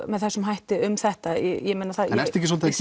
með þessum hætti um þetta ég meina ertu ekki svolítið